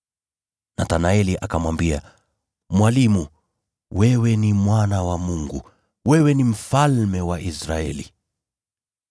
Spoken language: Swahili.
Nathanaeli akamwambia, “Rabi, wewe ni Mwana wa Mungu! Wewe ni Mfalme wa Israeli!”